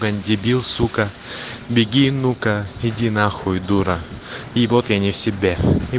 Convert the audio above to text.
блять дебил сука беги ну-ка иди нахуй дура и вот я не в себе и